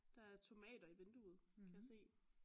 Der er tomater i vinduet kan jeg